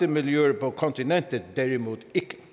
miljøer på kontinentet derimod